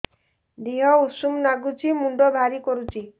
ଦିହ ଉଷୁମ ନାଗୁଚି ମୁଣ୍ଡ ଭାରି କରୁଚି